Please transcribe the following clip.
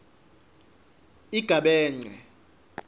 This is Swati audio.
igabence